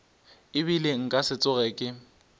ebile nka se tsoge ke